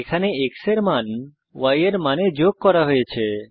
এখানে x এর মান y এর মানে যোগ করা হয়েছে